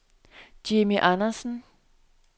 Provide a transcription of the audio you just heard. Jimmi Andersen